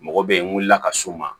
Mɔgɔ bɛ yen n wulila ka s'o ma